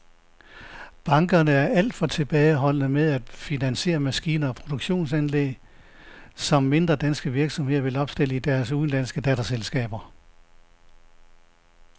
Bankerne er alt for tilbageholdende med at finansiere maskiner og produktionsanlæg, som mindre danske virksomheder vil opstille i deres udenlandske datterselskaber.